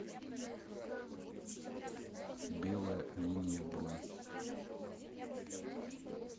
белая линия бронь